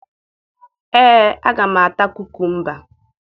Ee, aga m ata kukumba